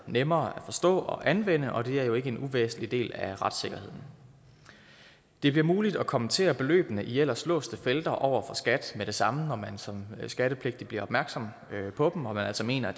nemmere at forstå og anvende og det er jo ikke en uvæsentlig del af retssikkerheden det bliver muligt at kommentere beløbene i ellers låste felter over for skat med det samme når man som skattepligtig bliver opmærksom på dem og altså mener at